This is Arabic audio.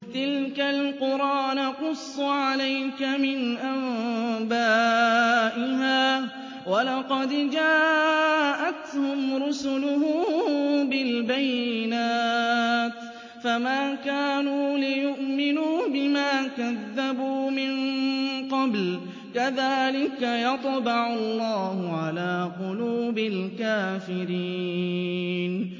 تِلْكَ الْقُرَىٰ نَقُصُّ عَلَيْكَ مِنْ أَنبَائِهَا ۚ وَلَقَدْ جَاءَتْهُمْ رُسُلُهُم بِالْبَيِّنَاتِ فَمَا كَانُوا لِيُؤْمِنُوا بِمَا كَذَّبُوا مِن قَبْلُ ۚ كَذَٰلِكَ يَطْبَعُ اللَّهُ عَلَىٰ قُلُوبِ الْكَافِرِينَ